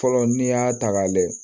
Fɔlɔ n'i y'a ta k'a lajɛ